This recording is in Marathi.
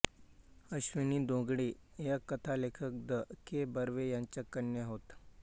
अश्विनी धोंगडे या कथालेखक द के बर्वे यांच्या कन्या होत